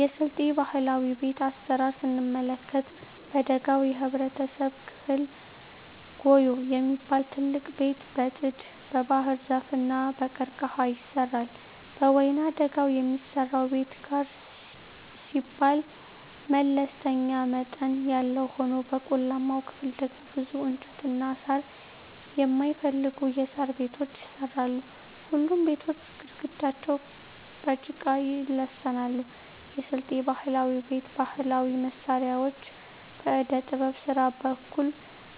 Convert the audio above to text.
የስልጤ ባህላዊ ቤት አሰራር ስንመለከት በደጋው የህብረተሰብ ክፍል ጉዬ የሚባል ትልቅ ቤት በጥድ, በባህርዛፍ እና በቀርቀሀ ይሰራል። በወይናደጋው የሚሰራው ቤት ጋር ሲባል መለስተኛ መጠን ያለው ሆኖ በቆላማው ክፍል ደግሞ ብዙ እንጨትና ሳር የማይፈልጉ የሣር ቤቶች ይሰራሉ። ሁሉም ቤቶች ግድግዳቸው በጭቃ ይለሰናሉ። የስልጤ ባህላዊ ቤት ባህላዊ መሳሪያዎች በዕደጥበብ ስራ በኩል